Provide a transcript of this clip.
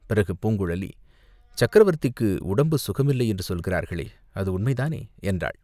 பிறகு பூங்குழலி, "சக்கரவர்த்திக்கு உடம்பு சுகமில்லை என்று சொல்கிறார்களே, அது உண்மைதானே?" என்றாள்.